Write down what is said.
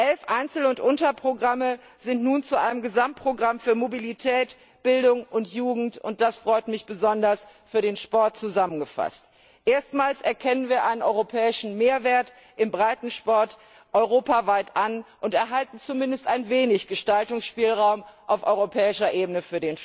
Elf Einzel und Unterprogramme sind nun zu einem Gesamtprogramm für Mobilität, Bildung und Jugend und das freut mich besonders für den Sport zusammengefasst. Erstmals erkennen wir einen europäischen Mehrwert im Breitensport europaweit an und erhalten für den Sport zumindest ein wenig Gestaltungsspielraum auf europäischer Ebene.